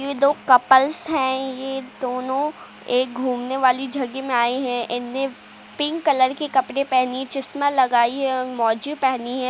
ये दो कपल्स हैं। ये दोनो एक घूमने वाली जगह में आए हैं। इनने पिंक कलर के कपड़े पहनी चश्मा लगाई है और मौजे पहनी है।